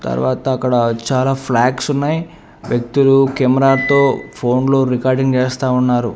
తర్వాత అక్కడ చాలా ఫ్లాగ్సున్నాయ్ వ్యక్తులు కెమెరాతో ఫోన్లో రికార్డింగ్ చేస్తా ఉన్నారు.